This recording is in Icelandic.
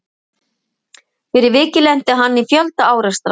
Fyrir vikið lenti hann í fjölda árekstra.